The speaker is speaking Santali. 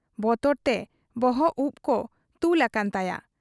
ᱵᱚᱛᱚᱨᱛᱮ ᱵᱚᱦᱚᱵ ᱩᱯ ᱠᱚ ᱛᱩᱞ ᱟᱠᱟᱱ ᱛᱟᱭᱟ ᱾